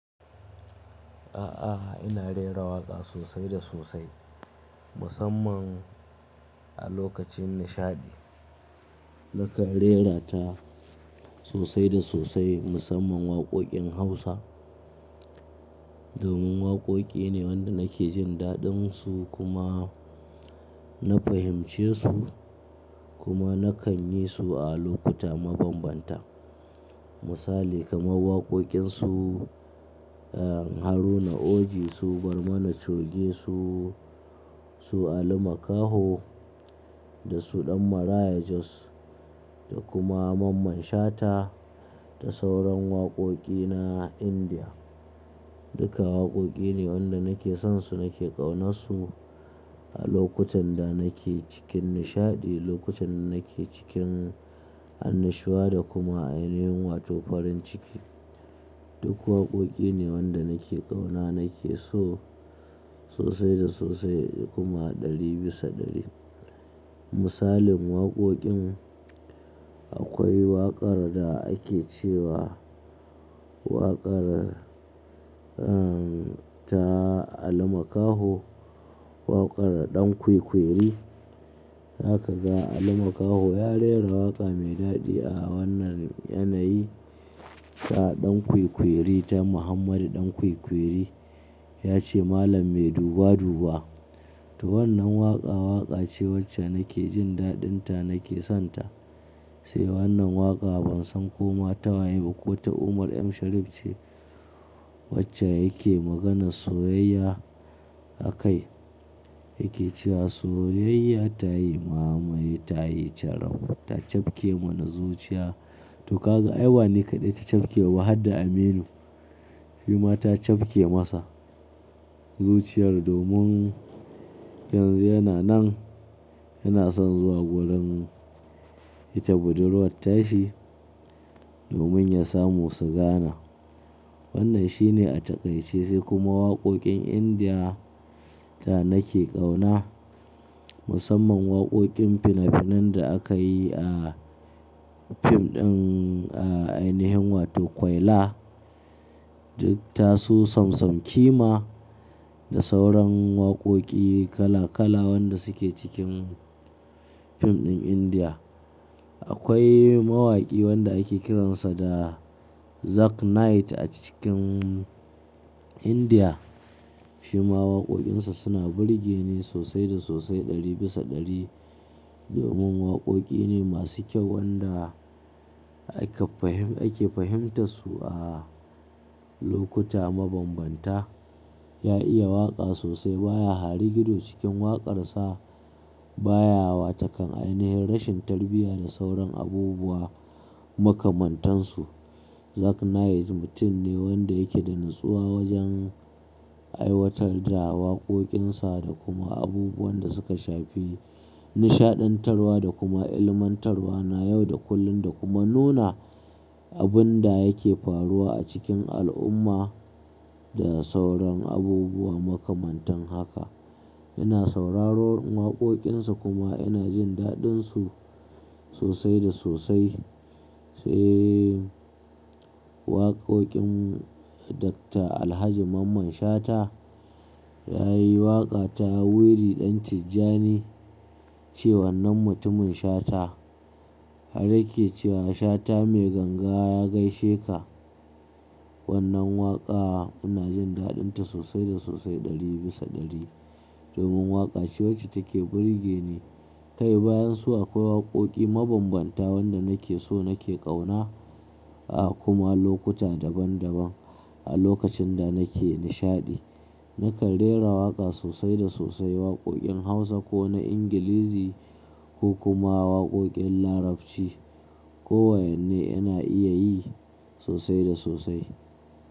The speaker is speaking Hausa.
A'a, ina rera waƙa sosai da sosai. Musamman a lokacin nishaɗi. Na kan raira ta sosai da sosai musamman waƙoƙin Hausa. Domin waƙoƙi ne wanda nake jin daɗinsu kuma na fahimce su kuma na kan yi su a lokuta mabambanta. Misali kamar waƙoƙin su Haruna Oji, su Barmana Choge, su, su Ali Makaho da su Ɗan Maraya Jos da kuma Mamman Shata da sauran waƙoƙi na Indiya. Duka waƙoƙi ne wanda nake son su nake ƙaunan su a lokutan da nake cikin nishaɗi, lokutan da nake cikin annashuwa da kuma ainihin wato farin ciki. Duk waƙoƙi ne wanda nake ƙauna nake so sosai da sosai kuma ɗari bisa ɗari. Misalin waƙoƙin akwai waƙar da ake cewa waƙar, ehn, ta Ali Makaho. Waƙar Ɗan Kwikwiri. Zaka ga Ali Makaho ya raira waƙa mai daɗi a wannan yanayi. Ga Ɗan Kwikwiri ta Muhammadu Ɗan Kwikwiri. Ya ce malam mai duba duba. To wannan waƙa, waƙa ce wacce nake jin daɗin ta nake son ta. Sai wannan waƙa ban san ko mata waye ba ko ta Umar M Sharif ce wacce yake maganar soyayya a kai. Yake cewa soyayya ta yi mamaye ta yi caraf ta cafke mana zuciya. To ka ga ai ba ni kaɗai ta cafke ba har da Aminu. Shima ta cafke masa zuciyar domin yanzu yana nan yana son zuwa gurin ita budurwar tashi domin ya samu su gana. Wannan shi ne a taƙaice sai kuma waƙoƙin Indiya ta nake ƙauna. Musamman waƙoƙin finafinan da aka yi a fim ɗin, eh, ainihin wato Kwaila. Duk tasu samsam kima da sauran waƙoƙi kala kala wanda suke cikin fim ɗin Indiya. Akwai mawaƙi wanda ake kiransa da Zak Knight a cikin Indiya. Shima waƙoƙinsa suna burge ni sosai da sosai ɗari bisa ɗari. Domin waƙoƙi ne masu kyau wanda aka fahim, ake fahimta su a lokuta mabambanta. Ya iya waƙa sosai baya harigido cikin waƙarsa. Ba ya watakan ainihin rashin tarbiyya da sauran abubuwa makamantan su. Zak Knight mutum ne wanda yake da natsuwa wajen aiwatar da waƙoƙinsa da kuma abubuwan da suka shafi nishaɗantarwa da kuma ilmantarwa na yau da kullum da kuma nuna abun da yake faruwa a cikin al'umma da sauran abubuwa makamantan haka. Ina sauraron waƙoƙinsa kuma ina jin daɗinsu sosai da sosai. Sai waƙoƙin Dakta Alhaji Mamman Shata ya yi waƙa ta Wiri ɗan Tijjani ce wannan mutumin Shata. Har yake cewa Shata mai ganga ya gaishe ka. Wannan waƙa ina jin daɗin ta sosai da sosai ɗari bisa ɗari. Domin waƙa ce wacce take burge ni. Kai bayan su akwai waƙoƙi mabambanta wanda nake so nake ƙauna, a kuma lokuta daban daban a lokacin da nake nishaɗi. Naka rera waƙa sosai da sosai waƙoƙin Hausa ko na Ingilizi ko kuma waƙoƙin Larabci. Ko wa inne ina iya yi sosai da sosai.